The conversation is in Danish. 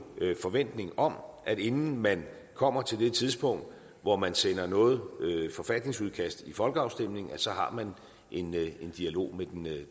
forventning om at inden man kommer til det tidspunkt hvor man sender noget forfatningsudkast til folkeafstemning så har man en dialog med